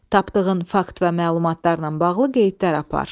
Tapdığın fakt və məlumatlarla bağlı qeydlər apar.